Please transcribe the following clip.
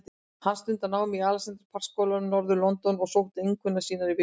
Hann stundar nám í Alexandra Park skólanum í norður-London og sótti einkunnir sínar í vikunni.